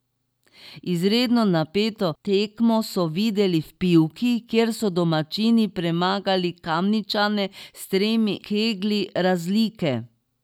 Izredno napeto tekmo so videli v Pivki, kjer so domačini premagali Kamničane s tremi keglji razlike.